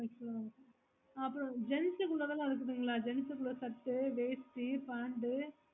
அப்ரோ அப்ரோ gents குள்ளத்தளம் இருக்குதுங்கள gents குள்ள செட்ட வேஷ்டி pant